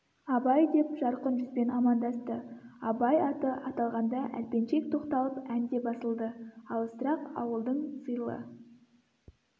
абай деп жарқын жүзбен амандасты абай аты аталғанда әлпеншек тоқталып ән де басылды алысырақ ауылдың сыйлы